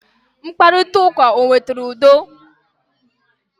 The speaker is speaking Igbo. Mkparita ụka o wetara udo?